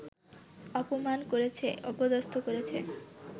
অপমান করেছে, অপদস্থ করেছে